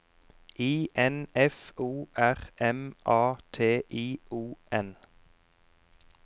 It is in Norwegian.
I N F O R M A T I O N